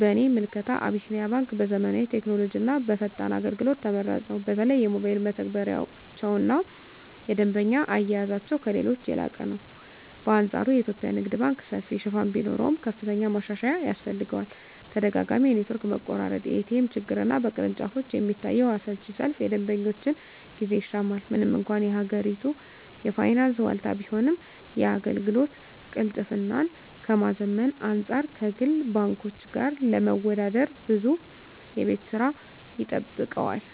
በእኔ ምልከታ አቢሲኒያ ባንክ በዘመናዊ ቴክኖሎጂና በፈጣን አገልግሎት ተመራጭ ነው። በተለይ የሞባይል መተግበሪያቸውና የደንበኛ አያያዛቸው ከሌሎች የላቀ ነው። በአንፃሩ የኢትዮጵያ ንግድ ባንክ ሰፊ ሽፋን ቢኖረውም፣ ከፍተኛ ማሻሻያ ያስፈልገዋል። ተደጋጋሚ የኔትወርክ መቆራረጥ፣ የኤቲኤም ችግርና በቅርንጫፎች የሚታየው አሰልቺ ሰልፍ የደንበኞችን ጊዜ ይሻማል። ምንም እንኳን የሀገሪቱ የፋይናንስ ዋልታ ቢሆንም፣ የአገልግሎት ቅልጥፍናን ከማዘመን አንፃር ከግል ባንኮች ጋር ለመወዳደር ብዙ የቤት ሥራ ይጠብቀዋል።